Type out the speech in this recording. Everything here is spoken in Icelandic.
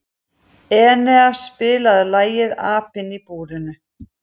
Enea, spilaðu lagið „Apinn í búrinu“.